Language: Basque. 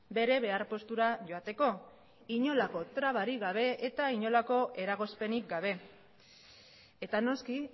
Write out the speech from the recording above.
bere behar postura joateko inolako trabarik gabe eta inolako eragozpenik gabe eta noski